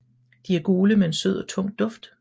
De er gule med en sød og tung duft